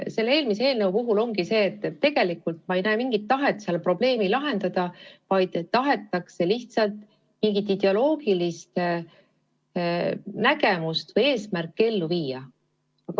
Selle eelmise eelnõu puhul ongi asi selles, et ma tegelikult ei näe mingit tahet seda probleemi lahendada, vaid tahetakse lihtsalt mingit ideoloogilist nägemust või eesmärki ellu viia.